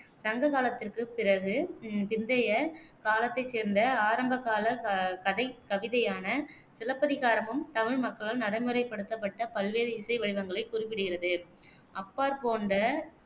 சங்க காலத்திற்கு பிறகு பிந்தைய காலத்தைச் சேர்ந்த ஆரம்பகால க கதைக் கவிதையான சிலப்பதிகாரமும் தமிழ் மக்களால் நடைமுறைப்படுத்தப்பட்ட பல்வேறு இசை வடிவங்களைக் குறிப்பிடுகிறது. அப்பார் போன்ற